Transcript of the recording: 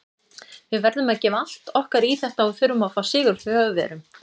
Við verðum að gefa allt okkar í þetta og þurfum að fá sigur frá Þjóðverjum.